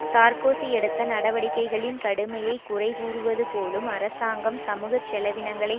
Sarkozy எடுத்த நடவடிக்கைகளின் கடுமையை குறை கூறுவதுபோலும் அரசாங்கம் சமூக செலவினங்களை